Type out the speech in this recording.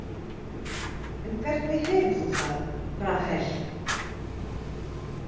En hvernig hefur þú það, Rahel?